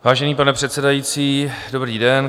Vážený pane předsedající, dobrý den.